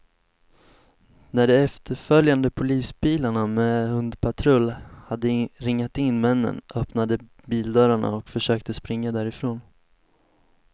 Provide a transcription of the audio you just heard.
När de efterföljande polisbilarna med hundpatrull hade ringat in männen, öppnade de bildörrarna och försökte springa därifrån.